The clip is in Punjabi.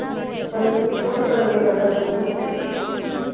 ਸੰਗਤ ਨੂੰ ਕੋਈ ਫ਼ਰਕ ਨਹੀਂ ਪੈਂਦਾ ਗਰਮੀਂ ਏ ਜਾਂ ਸ਼ਰਦੀ ਏ